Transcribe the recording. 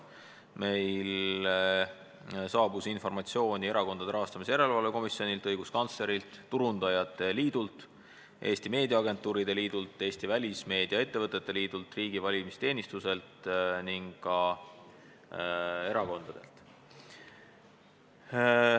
Meile saabus informatsiooni erakondade rahastamise järelevalve komisjonilt, õiguskantslerilt, Turundajate Liidult, Eesti Meediaagentuuride Liidult, Eesti Välimeediaettevõtete Liidult, riigi valimisteenistuselt ning erakondadelt.